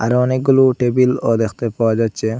এখানে অনেকগুলো টেবিল -ও দেখতে পাওয়া যাচ্চে।